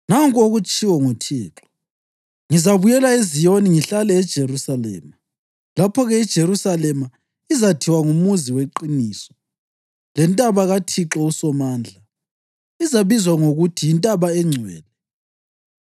Nanku okutshiwo nguThixo: “Ngizabuyela eZiyoni ngihlale eJerusalema. Lapho-ke iJerusalema izathiwa nguMuzi weQiniso, lentaba kaThixo uSomandla izabizwa ngokuthi yiNtaba eNgcwele.”